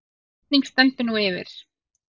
Kosning stendur nú yfir